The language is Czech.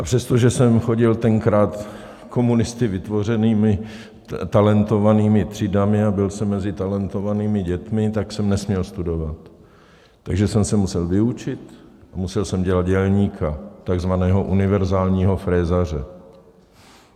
A přestože jsem chodil tenkrát komunisty vytvořenými talentovanými třídami a byl jsem mezi talentovanými dětmi, tak jsem nesměl studovat, takže jsem se musel vyučit a musel jsem dělat dělníka, takzvaného univerzálního frézaře.